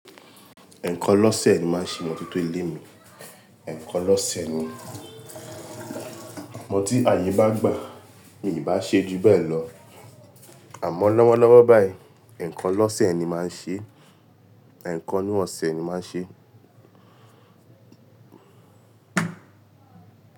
Ẹ̀ẹ̀kan lọ́sẹ̀ ni màá ń se imọ́tótó ilé mi, ẹ̀ẹ̀kan lọ́sẹ̀ ni. Àmọ́ tí ààyè bá gbà, mi ò bá ṣe ju bẹ́ẹ̀ lọ. Àmọ́ lọ́wọ́lọ́wọ́ báyìí, ẹ̀ẹ̀kan lọ́sẹ̀ ni màá ń ṣe, ẹ̀ẹ̀kan nu ọ̀sẹ̀ ni màá ń ṣe.